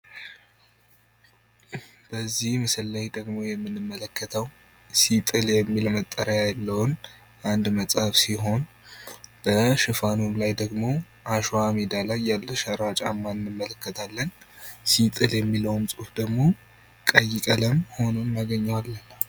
በዚህ ምስል ላይ የምንመለከተው ደግሞ ሲጥል የሚል መጠሪያ ያለውን አንድ መጽሐፍ ሲሆን በሽፋኑ ላይ ደግሞ አሸዋ ሜዳ ላይ ያለ ሸራ ጫማን እንመለከታለን። ሲጥል የሚለውን ደግሞ ቀይ ቀለም ሁኖ እናገኘዋለን።